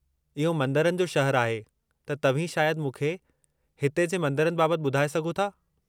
इहो मंदरनि जो शहरु आहे त तव्हीं शायदि मूंखे हिते जे मंदरनि बाबत ॿुधाए सघो था।